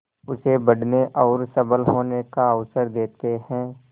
उसे बढ़ने और सबल होने का अवसर देते हैं